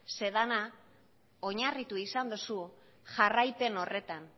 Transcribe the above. zeren dena oinarritu izan duzu jarraipen horretan